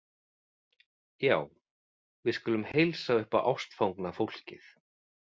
Já, við skulum heilsa upp á ástfangna fólkið